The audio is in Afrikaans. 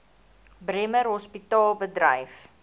bremer hospitaal bedryf